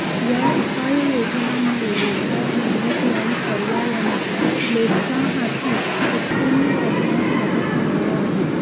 या उपाययोजनांमुळे रोजगारनिर्मिती आणि पर्यायाने लोकांहाती उत्पन्न वाढण्यास मदत मिळणार आहे